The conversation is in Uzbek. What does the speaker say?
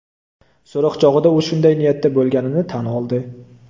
So‘roq chog‘ida u shunday niyatda bo‘lganini tan oldi.